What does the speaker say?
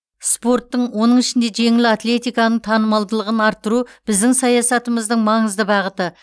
спорттың оның ішінде жеңіл атлетиканың танымалдылығын арттыру біздің саясатымыздың маңызды бағыты